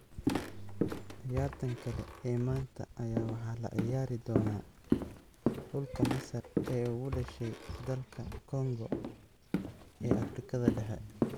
Ciyaartan kale ee maanta ayaa waxaa la ciyaari doona xulka Masar ee u dhashay dalka Congo ee afrikada dhehe